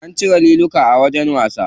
An cire liluka a wajen wasa.